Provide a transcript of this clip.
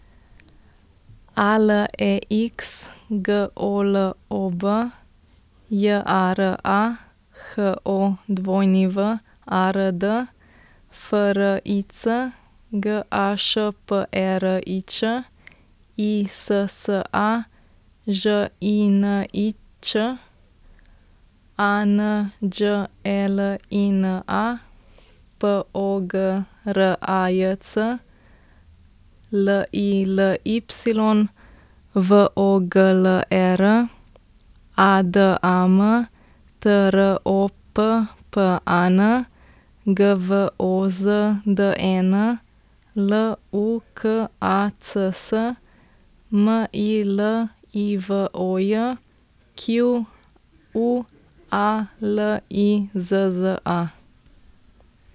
A L E X, G O L O B; J A R A, H O W A R D; F R I C, G A Š P E R I Č; I S S A, Ž I N I Ć; A N Đ E L I N A, P O G R A J C; L I L Y, V O G L E R; A D A M, T R O P P A N; G V O Z D E N, L U K A C S; M I L I V O J, Q U A L I Z Z A.